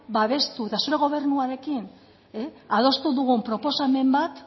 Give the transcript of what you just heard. babestu eta zure gobernuarekin adostu dugun proposamen bat